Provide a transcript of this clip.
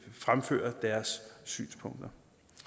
fremføre deres synspunkter